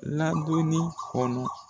Ladonni kɔnɔ.